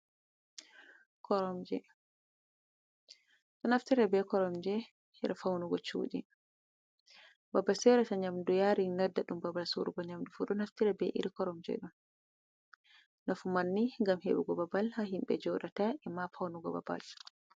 Koromje ɗo naftira be koromje her faunugo cudi babal sorata nyamdu yarin nodda ɗum babal sorugo nyamdu fu ɗo naftira be iri koromje ɗon. Nafu mai ni ngam heɓugo babal ha himɓe joɗata ema faunugo babal.